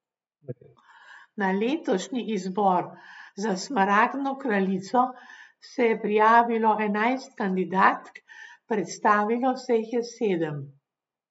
Na letošnji izbor za smaragdno kraljico se je prijavilo enajst kandidatk, predstavilo se jih je sedem.